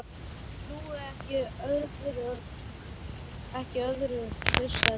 Ég trúi ekki öðru, fussaði Tóti.